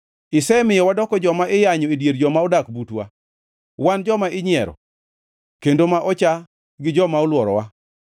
Isemiyo wadoko joma iyanyo e dier joma odak butwa, wan joma inyiero kendo ma ocha gi joma olworowa.